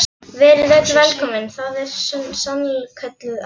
Verið öll velkomin, það er sannkölluð á.